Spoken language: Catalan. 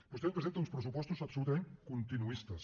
vostè ens presenta uns pressupostos absolutament continuistes